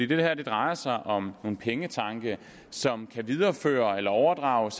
det her drejer sig om nogle pengetanke som kan videreføres eller overdrages